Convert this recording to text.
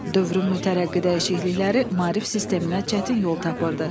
Dövrün mütərəqqi dəyişiklikləri maarif sisteminə çətin yol tapırdı.